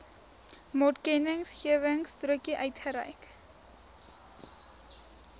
maatkennisgewingstrokie uitgereik